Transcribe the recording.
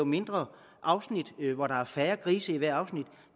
mindre afsnit hvor der er færre grise i hvert afsnit